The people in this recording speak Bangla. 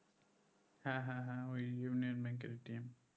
হ্যাঁ হ্যাঁ হ্যাঁ ওই ইউনিয়ন bank এর